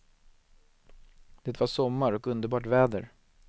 Det var sommar och underbart väder.